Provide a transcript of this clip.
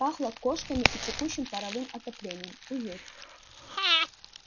пахло кошками и текущим паровым отоплением уют